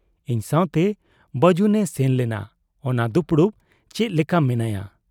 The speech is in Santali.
ᱤᱧ ᱥᱟᱶᱛᱮ ᱵᱟᱹᱡᱩᱱᱮ ᱥᱮᱱ ᱞᱮᱱᱟ ᱚᱱᱟ ᱫᱩᱯᱲᱩᱵ ᱾ ᱪᱮᱫ ᱞᱮᱠᱟ ᱢᱮᱱᱟᱭᱟ ?